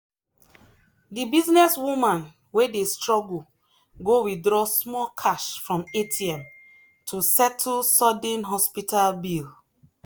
the businesswoman wey dey struggle go withdraw small cash from atm to settle sudden hospital bill.